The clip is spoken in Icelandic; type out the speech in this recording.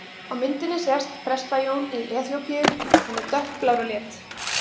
Á myndinni sést Presta-Jón í Eþíópíu, hann er dökkblár á lit.